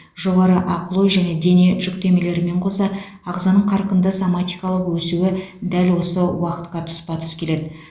жоғары ақыл ой және дене жүктемелерімен қоса ағзаның қарқынды соматикалық өсуі дәл осы уақытқа тұспа тұс келеді